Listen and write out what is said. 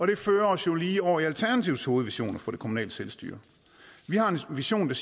det fører os jo lige over i alternativets hovedvision for det kommunale selvstyre vi har en vision